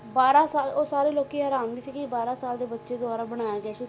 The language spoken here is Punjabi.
ਬਾਰਾਂ ਸਾਲ ਉਹ ਸਾਰੇ ਲੋਕੀ ਹੈਰਾਨ ਸੀ ਕਿ ਬਾਰਾਂ ਸਾਲ ਦੇ ਬੱਚੇ ਦੁਆਰਾ ਬਣਾਇਆ ਗਿਆ ਕਿ